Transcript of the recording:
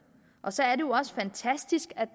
og så er det jo også fantastisk at